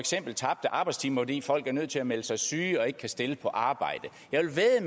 af tabte arbejdstimer fordi folk er nødt til at melde sig syge og ikke kan stille på arbejde jeg vil vædde